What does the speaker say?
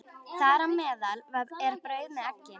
Þar á meðal er brauð með eggi.